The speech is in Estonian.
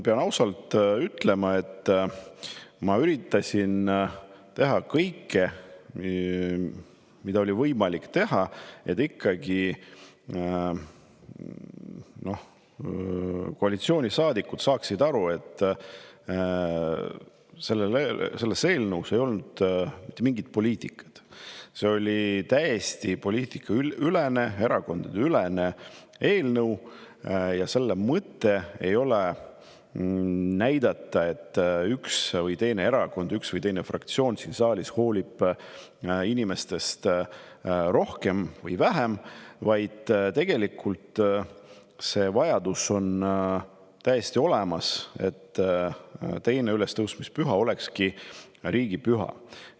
Pean ausalt ütlema, et ma üritasin teha kõike, mida oli võimalik teha, et koalitsioonisaadikud saaksid ikkagi aru, et eelnõus ei olnud mitte mingit poliitikat, vaid see oli täiesti poliitikaülene, erakondadeülene eelnõu ja selle mõte ei olnud näidata, et üks või teine erakond või fraktsioon siin saalis hoolib inimestest rohkem või vähem, vaid tegelikult on vajadus, et 2. ülestõusmispüha olekski riigipüha, täiesti olemas.